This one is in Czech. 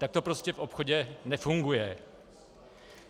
Tak to prostě v obchodě nefunguje.